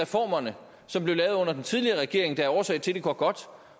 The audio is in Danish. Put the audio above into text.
reformerne som blev lavet under den tidligere regering der er årsag til at det går godt